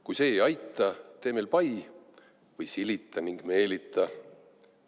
Kui see ei aita, tee meil pai või silita ning meelita.